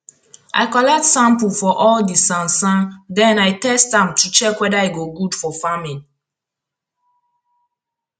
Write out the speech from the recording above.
i collect sample for all di sansan den i test am to check weada e go good for farming